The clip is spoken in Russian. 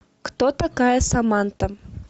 кто такая саманта